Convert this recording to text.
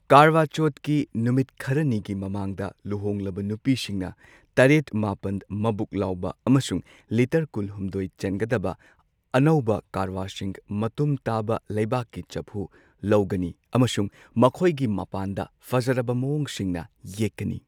ꯀꯔꯕ ꯆꯧꯊꯀꯤ ꯅꯨꯃꯤꯠ ꯈꯔꯅꯤꯒꯤ ꯃꯃꯥꯡꯗ ꯂꯨꯍꯣꯡꯂꯕ ꯅꯨꯄꯤꯁꯤꯡꯅ ꯇꯔꯦꯠ ꯃꯥꯄꯟ ꯃꯕꯨꯛ ꯂꯥꯎꯕ ꯑꯃꯁꯨꯡ ꯂꯤꯇꯔ ꯀꯨꯟꯍꯨꯝꯗꯣꯢ ꯆꯟꯒꯗꯕ ꯑꯅꯧꯕ ꯀꯔꯋꯥꯁꯤꯡ ꯃꯇꯨꯝ ꯇꯥꯕ ꯂꯩꯕꯥꯛꯀꯤ ꯆꯐꯨ ꯂꯧꯒꯅꯤ ꯑꯃꯁꯨꯡ ꯃꯈꯣꯏꯒꯤ ꯃꯄꯥꯟꯗ ꯐꯖꯔꯕ ꯃꯑꯣꯡꯁꯤꯡꯅ ꯌꯦꯛꯀꯅꯤ꯫